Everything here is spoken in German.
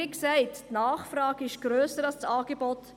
Wie gesagt: Die Nachfrage ist grösser als das Angebot;